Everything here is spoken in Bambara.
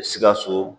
Sikaso